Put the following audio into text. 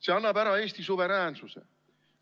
See annab ära Eesti suveräänsuse.